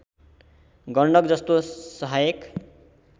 गण्डक जस्तो सहायक